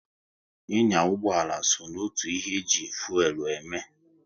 Ị nya ụgbọala so n'otu ihe e ji fuelu eme